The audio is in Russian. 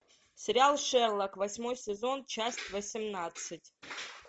сериал шерлок восьмой сезон часть восемнадцать